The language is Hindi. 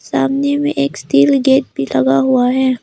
सामने में एक स्टील गेट भी लगा हुआ है।